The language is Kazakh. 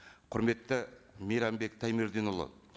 құрметті мейрамбек таймерденұлы